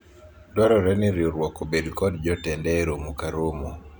dwarore ni riwruok obed kod jotende e romo ka romo